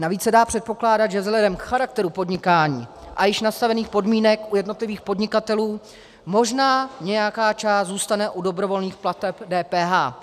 Navíc se dá předpokládat, že vzhledem k charakteru podnikání a již nastavených podmínek u jednotlivých podnikatelů možná nějaká část zůstane u dobrovolných plateb DPH.